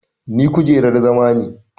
Ni kujerar zama ne.